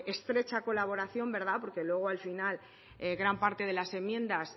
estrecha colaboración verdad porque luego al final gran parte de las enmiendas